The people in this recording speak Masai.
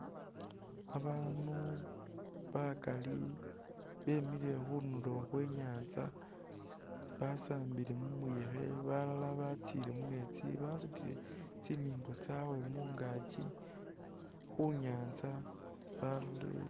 Bandu bakali bemile khundulo khwenyatsa basambile mumuyekhe balala batsile mumetsi basutile tsimimbo tsawe mungakyi khunyatsa balolele.